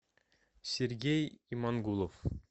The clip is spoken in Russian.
сергей имангулов